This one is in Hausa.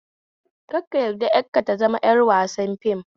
Kar ka yarda 'yarka ta zama 'yar wasar fim